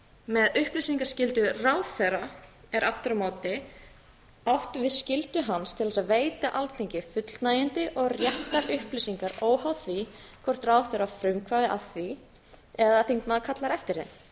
með upplýsingaskyldu ráðherra er aftur á mæli átt við skyldu hans til þess að veita alþingi fullnægjandi og réttar upplýsingar óháð því hvort ráðherra á frumkvæði að því eða þingmaður kallar eftir þeim